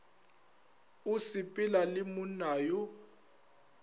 o sepela le monna yo